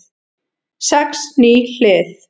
Sex ný hlið